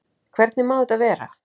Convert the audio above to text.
Hvernig má þetta vera?